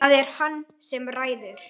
Það er hann sem ræður.